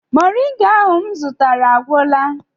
Moringa ahụ m zụtara agwụla?